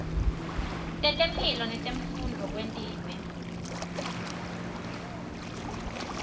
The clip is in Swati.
tetemphilo netemfundvo kwentiwe